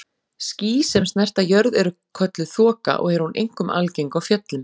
Ský sem snerta jörð eru kölluð þoka og er hún einkum algeng á fjöllum.